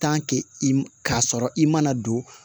i m k'a sɔrɔ i mana don